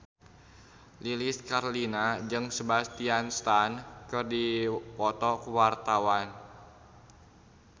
Lilis Karlina jeung Sebastian Stan keur dipoto ku wartawan